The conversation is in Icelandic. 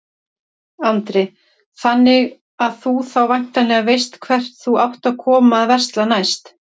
Andri: Þannig að þú þá væntanlega veist hvert þú átt að koma að versla næst?